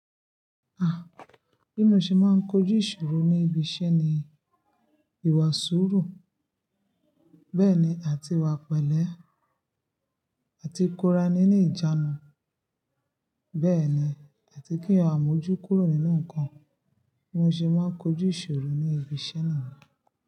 Ah! Bí mo ṣe máa ń kojú ìṣòro ní ibi iṣẹ́ ni ìwà sùúrù, bẹ́ẹ̀ ni àti ìwà pẹ̀lẹ́, àti ikorani ni ìjánu. Bẹ́ẹ̀ ni àti kí a mójú kúrò nínú ǹkan. Bí mo ṣe máa ń kojú ìṣòro ní ibi iṣẹ́ niyén.